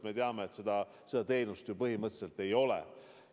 Me teame, et seda teenust ju põhimõtteliselt ei ole.